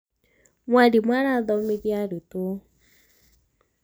mwalimu arathomithia arutwo